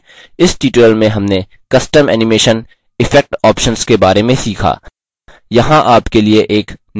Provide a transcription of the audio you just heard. इस tutorial में हमने custom animation effect options के बारे में सीखा